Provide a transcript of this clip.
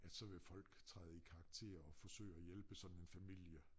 At så vil folk træde i karakter og forsøge at hjælpe sådan en familie